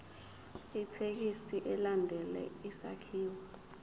ithekisthi ilandele isakhiwo